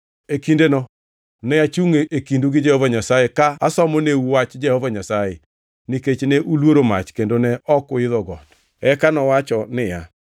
(E kindeno ne achungʼ e kindu gi Jehova Nyasaye ka asomoneu wach Jehova Nyasaye, nikech ne uluoro mach kendo ne ok uidho got.) Eka nowacho niya,